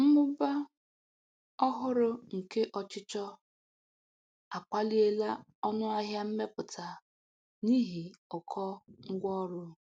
Mmụba ọhụrụ nke ọchịchọ akwaliela ọnụ ahịa mmepụta n'ihi ụkọ ngwa ọrụ.